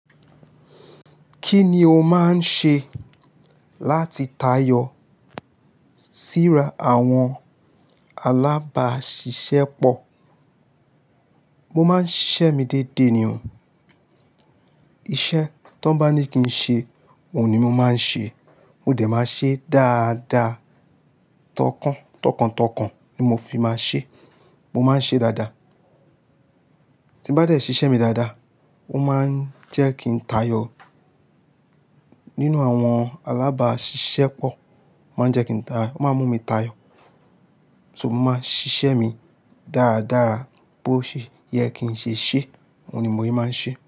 Kí ni o máa ń ṣe láti tayọ síra àwọn alábàáṣiṣẹ́ pọ̀? Mo máa ń ṣiṣẹ́ mi déédéé nì oo. Iṣẹ́ tó bá ní kí n ṣe, òun ni mo máa ń ṣe. Mo dẹ̀ máa ṣe dáadáa. Tọkàntọkàn ni mo fi máa ń ṣe. Mo máa ń ṣe dáadáa. Ti bá dẹ̀ ṣiṣẹ́ mi dáadáa, ó máa ń jẹ́ kí n tayọ nínú àwọn alábáàṣiṣẹ́ pọ̀. Ó máa ń jẹ́ kí n ta-- ó máa ń mú mi tayọ. So mo máa ń ṣiṣẹ́ mi dáradára. Bó ṣe yẹ kín ṣeṣe òun ni mo yẹ máa ń ṣe.